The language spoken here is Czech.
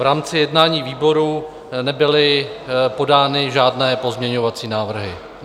V rámci jednání výboru nebyly podány žádné pozměňovací návrhy.